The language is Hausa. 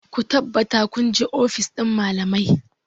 Ku tabbata kun je ofis ɗin malamai!